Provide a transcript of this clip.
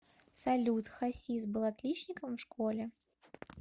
салют хасис был отличником в школе